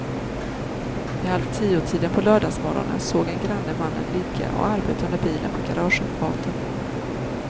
Vid halvtiotiden på lördagsmorgonen såg en granne mannen ligga och arbeta under bilen på garageuppfarten.